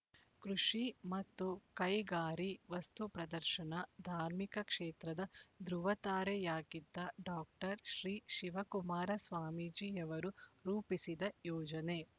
ಕೃಷಿ ಮತ್ತು ಕೈಗಾರಿ ವಸ್ತು ಪ್ರದರ್ಶನ ಧಾರ್ಮಿಕ ಕ್ಷೇತ್ರದ ಧೃವತಾರೆಯಾಗಿದ್ದ ಡಾಕ್ಟರ್ ಶ್ರೀ ಶಿವಕುಮಾರ ಸ್ವಾಮೀಜಿಯವರು ರೂಪಿಸಿದ ಯೋಜನೆ